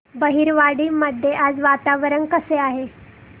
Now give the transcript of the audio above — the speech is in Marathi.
बहिरवाडी मध्ये आज वातावरण कसे आहे